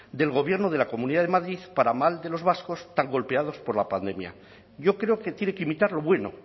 del gobierno de la comunidad de madrid para mal de los vascos tan golpeados por la pandemia yo creo que tiene que imitar lo bueno